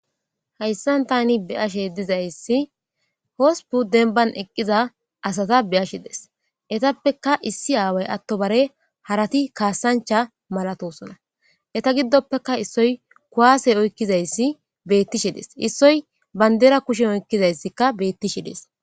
Haysan tani be7ashe dizaysi hospun denban eqiza asata be7ashe dayisi. Etapeka isi away atobare harati kasancha malatosona. Eta gidopeka issoy kuwase oyqizayisi betishe de7es. Isoy bandira kushen oyqidayiska betishe de7es.